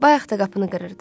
Bayaq da qapını qırırdı.